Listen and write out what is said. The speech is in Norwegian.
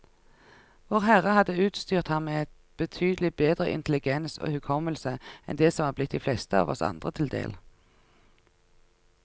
Vårherre hadde utstyrt ham med betydelig bedre intelligens og hukommelse enn det som er blitt de fleste av oss andre til del.